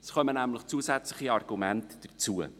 Es kommen nämlich zusätzliche Argumente hinzu.